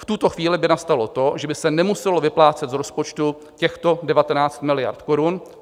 V tuto chvíli by nastalo to, že by se nemuselo vyplácet z rozpočtu těchto 19 miliard korun.